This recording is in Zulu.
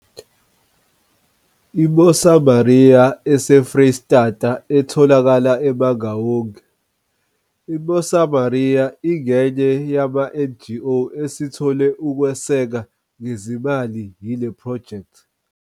I-Mosamaria eseFreyistata etholakala eMangaung, i-Mosamaria ingenye yamaNGO asethole ukwesekwa ngezimali yile phrojekthi.